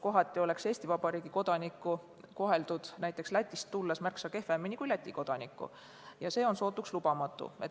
Kohati oleks näiteks Eesti Vabariigi kodanikku koheldud Lätist tulles märksa kehvemini kui Läti kodanikku ja see on sootuks lubamatu.